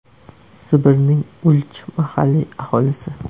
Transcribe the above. Sibirning Ulch mahalliy aholisi.